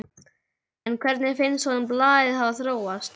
En hvernig finnst honum blaðið hafa þróast?